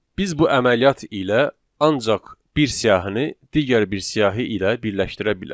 Biz bu əməliyyat ilə ancaq bir siyahini digər bir siyahı ilə birləşdirə bilərik.